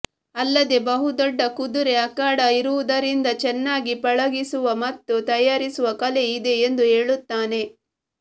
ಅಲ್ಲದೆ ಬಹುದೊಡ್ಡ ಕುದುರೆ ಅಖಾಡ ಇರುವುದರಿಂದ ಚೆನ್ನಾಗಿ ಪಳಗಿಸುವ ಮತ್ತು ತಯಾರಿಸುವ ಕಲೆ ಇದೆ ಎಂದು ಹೇಳುತ್ತಾನೆ